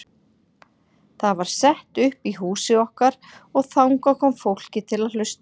Það var sett upp í húsi okkar og þangað kom fólkið til að hlusta.